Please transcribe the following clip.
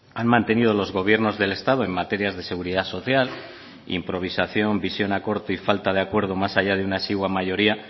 han mantenido los gobiernos del estado en materias de seguridad social improvisación visión a corto y falta de acuerdo más allá de una exigua mayoría